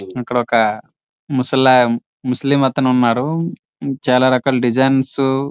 ఇక్కడ ఒక ముసల ముస్లిం అతను ఉన్నాడు. చాల రకాల డిజైన్స్ --